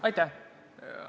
Aitäh!